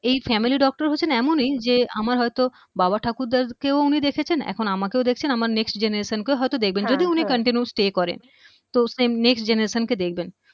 এই family doctor হচ্ছেন এমনই যে আমার হয়তো বাবা ঠাকুর দা কেও উনি দেখেছেন এখন আমাকেও দেখছেন আমার next generation কেও হয়তো দেখবেন হ্যা হ্যা যদি উনি continue stay করেন তো same next generation কে দেখবেন